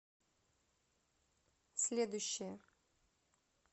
следующая